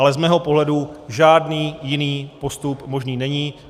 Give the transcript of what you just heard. Ale z mého pohledu žádný jiný postup možný není.